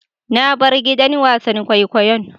Na bar gidan wasan kwaikwayon.